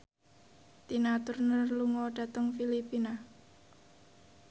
Tina Turner lunga dhateng Filipina